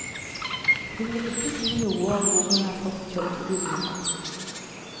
Hun vil ikke si noe om hvor hun har fått jobbtilbudene fra.